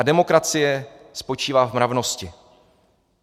A demokracie spočívá v mravnosti.